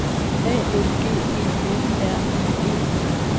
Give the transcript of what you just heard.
A L G E F R I E